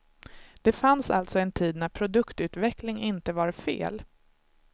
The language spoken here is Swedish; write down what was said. Det fanns alltså en tid när produktutveckling inte var fel.